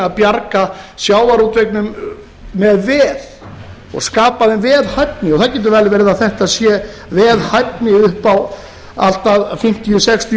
bjarga sjávarútveginum með veð og skapa þeim veðhæfni og það getur vel verið að þetta sé veðhæfni upp á allt að fimmtíu til sextíu